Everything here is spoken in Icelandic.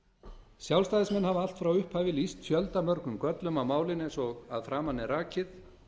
sjálfstæðismenn hafa allt frá upphafi lýst fjöldamörgum göllum á málinu eins og að framan er rakið